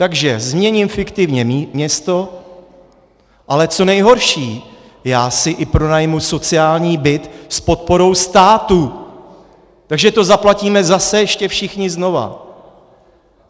Takže změním fiktivně město, ale co nejhorší, já si i pronajmu sociální byt s podporou státu, takže to zaplatíme zase ještě všichni znova.